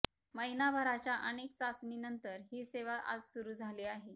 महिनाभराच्या अनेक चाचणीनंतर ही सेवा आज सुरु झाली आहे